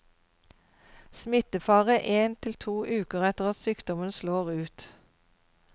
Smittefare én til to uker etter at sykdommen slår ut.